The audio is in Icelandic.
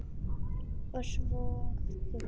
Og svo þú.